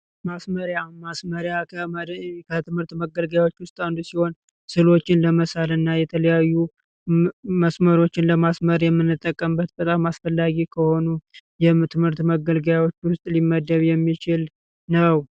ማስመሪያ ማስመሪያ ከጽሑፍ መሳሪያዎች ውስጥ አንዱ ሲሆን ለተለያዩ ሁፎችን እናመስማሮችን ለማስመር የምንጠቀምበት በጣም አስፈላጊ ከሆኑ የትምህርት መገልገያዎች ውስጥ ሊመደብ የሚችል ነው።